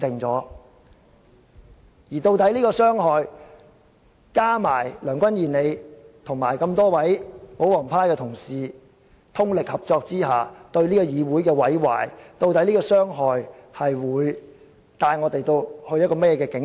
再加上梁君彥議員和各位保皇黨的同事通力合作，對這個議會造成毀壞，究竟這種傷害會帶我們前往怎樣的境地？